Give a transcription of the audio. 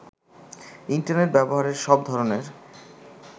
internet ব্যবহারের সব ধরনের